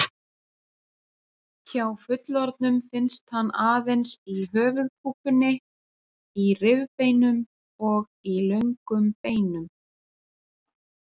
Hjá fullorðnum finnst hann aðeins í höfuðkúpunni, í rifbeinum og í löngum beinum.